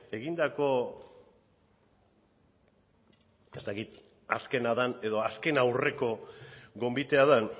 egindako ez dakit azkena den edo azken aurreko gonbitea den